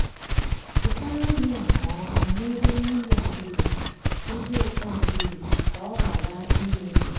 chekwaa nri nke ọma n'ebe mmiri adịghị ebe oke adịghị ka ọ ghara imebi.